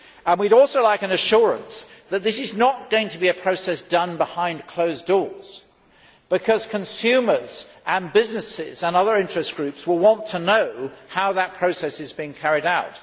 We would also like an assurance that this is not going to be a process done behind closed doors, because consumers and businesses and other interest groups will want to know how that process is being carried out.